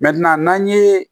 n'an ye